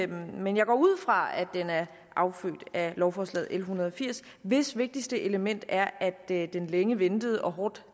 men jeg går ud fra at den er affødt af lovforslag nummer l en hundrede og firs hvis vigtigste element er at den længe ventede og hårdt